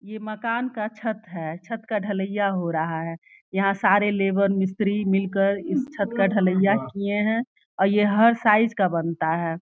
ये मकान का छत है। छत का ढलैया हो रहा है। यहाँ सारे लेबर मिस्त्री मिल कर इस छत काढ़लाईया किए हैं और ये हर साइज़ का बनता है।